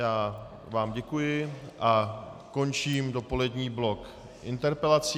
Já vám děkuji a končím dopolední blok interpelací.